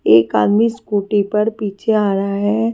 एक आदमी स्कूटी पर पीछे आ रहा है।